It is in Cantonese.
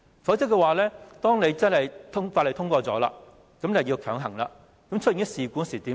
否則《條例草案》一經通過，便要強行實施，發生事故時怎辦？